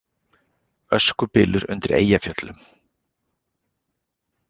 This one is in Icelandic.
Öskubylur undir Eyjafjöllum